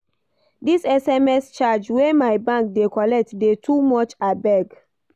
Dis sms charge wey my bank dey collect dey too much abeg.